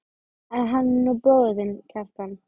En hann er nú bróðir þinn, Kjartan.